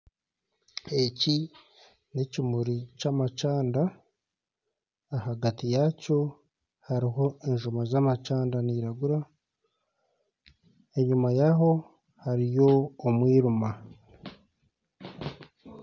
Eki nekimuri kyamacanda ahagati yaakyo hariho enjuma zamacanda niziragura enyuma yaaho hariyo omwirima